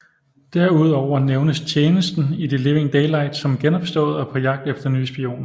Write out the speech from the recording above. Derudover nævnes tjenesten i The Living Daylights som genopstået og på jagt efter nye spioner